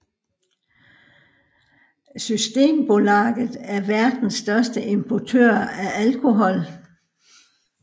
Systembolaget er verdens største importør af alkohol